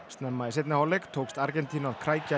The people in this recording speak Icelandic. snemma í seinni hálfleik tókst Argentínu að krækja